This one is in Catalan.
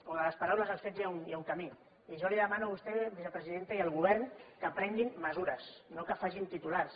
o de les paraules als fets hi ha un camí i jo li demano a vostè vicepresidenta i al govern que prenguin mesures no que facin titulars